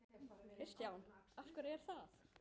Kristján: Af hverju er það?